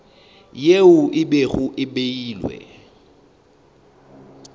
yeo e bego e beilwe